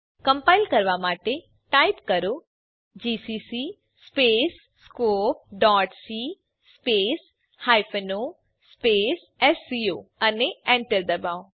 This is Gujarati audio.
કમ્પાઇલ કરવા માટે ટાઈપ કરો જીસીસી scopeસી o એસસીઓ અને એન્ટર દબાવો